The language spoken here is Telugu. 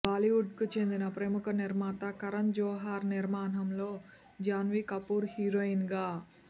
బాలీవుడ్కు చెందిన ప్రముఖ నిర్మాత కరణ్ జోహార్ నిర్మాణంలో జాన్వీ కపూర్ హీరోయిన్గా